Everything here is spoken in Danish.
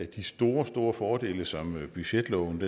de store store fordele som budgetloven